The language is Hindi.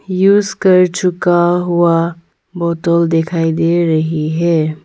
युज कर चुका हुआ बोतल दिखाई दे रही है।